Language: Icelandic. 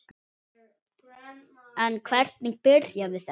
En hvernig byrjaði þetta?